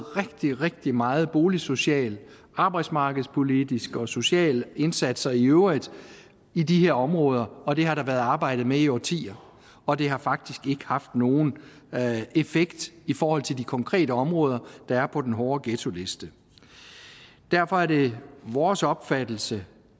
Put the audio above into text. rigtig rigtig meget boligsocialt arbejde og arbejdsmarkedspolitiske og sociale indsatser i øvrigt i de her områder og der har været arbejdet med det i årtier og det har faktisk ikke haft nogen effekt i forhold til de konkrete områder der er på den hårde ghettoliste derfor er det vores opfattelse